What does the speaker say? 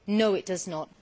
No it does not.